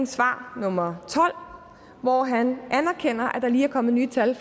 svar nummer tolv hvor han anerkender at der lige er kommet nye tal